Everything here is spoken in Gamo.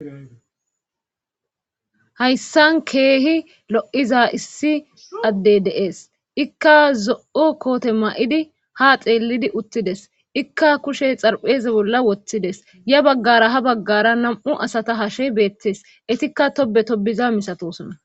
Hayssan keehi lo7iza issi addey deees ikka zo'o koote ma'idi ha xeelidi uttides ikka kushe xarpheze bolla woththides ya baggara ha baggara nam'u asata hashe beettees etikka tobe tobiza misatosona.